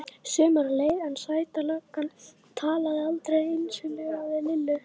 Sumarið leið en Sæta löggan talaði aldrei einslega við Lillu.